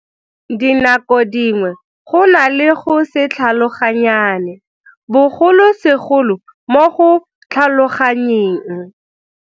Ka dinako dingwe go na le go se tlhaloganyane, bogolosegolo mo go tlhaloganyeng.